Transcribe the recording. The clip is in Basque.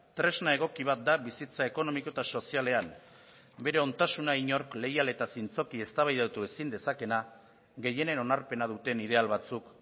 tresna egoki bat da bizitza ekonomiko eta sozialean bere ontasuna inork leial eta zintzoki eztabaidatu ezin dezakeena gehienen onarpena duten ideal batzuk